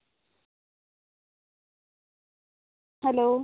hello